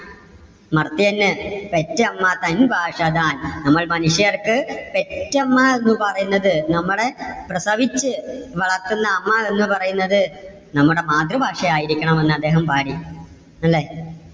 മർത്യന് പെറ്റമ്മ തൻ ഭാഷ താൻ. നമ്മൾ മനുഷ്യർക്ക് പെറ്റമ്മ എന്ന് പറയുന്നത് നമ്മടെ പ്രസവിച്ച് വളർത്തുന്ന അമ്മ എന്ന് പറയുന്നത് നമ്മുടെ മാതൃഭാഷ ആയിരിക്കണം എന്ന് അദ്ദേഹം പാടി, അല്ലേ.